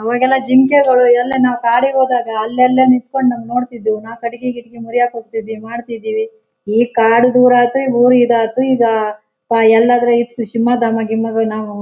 ಅವಾಗೆಲ್ಲ ಜಿಂಕೆಗಳು ಎಲ್ಲ ನಾವು ಕಾಡುಗೆ ಹೋದಾಗ ಅಲ್ಲಲ್ಲೇ ನಿಂತ್ಕೊಂಡ್ ನಮ್ ನೋಡ್ತಿದ್ವು ನಾ ಕಟ್ಟಿಗೆ ಇಟಿಗೆ ಮುರಿಯಕ್ ಹೋಗ್ತಿದ್ವಿ ಮಾರ್ ತಿದ್ವಿ ಈ ಕಾಡು ದೂರಯ್ತು ಊರ್ ಇದತ್ತು ಈಗ ಪಾ ಎಲ್ಲಾಂದ್ರೆ ಇತ್ ಸಿಂಹದಾಮ ಗಿಮ್ಮದಾಮ ನಾವೂ